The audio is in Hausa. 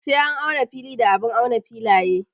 Sai an auna fili da abun auna filaye.